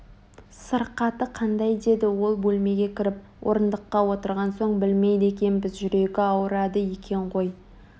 сырқаты қаңдай деді ол бөлмеге кіріп орындыққа отырған соң білмейді екенбіз жүрегі ауырады екен ғой